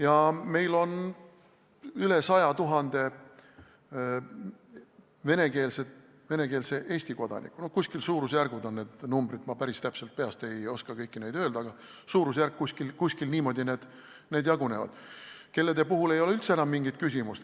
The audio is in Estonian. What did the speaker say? Ja meil on üle 100 000 venekeelse Eesti kodaniku – no kuskil sellisesse suurusjärku need numbrid jäävad, ma päris täpselt ei oska peast neid kõiki öelda, aga kuskil niimoodi need jagunevad –, kelle puhul ei ole üldse enam mingit küsimust.